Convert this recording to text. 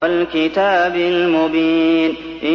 وَالْكِتَابِ الْمُبِينِ